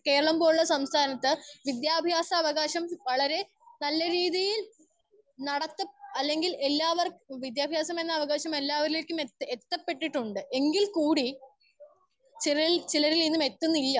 Speaker 1 Keralam പോലുള്ള സംസ്ഥാനത്തു വിദ്യാഭ്യാസ അവകാശം വളരെ നല്ല രീതിയിൽ നടത്തും അല്ലെങ്കിൽ എല്ലാ വർ വിദ്യാഭ്യാസം എന്ന അവകാശം എല്ലാവരിലേക്കും എത്തി എത്തപെട്ടിട്ടുണ്ട്. എങ്കിൽ കൂടി ചിലർ ചിലരിലൊന്നും എത്തു ന്നില്ല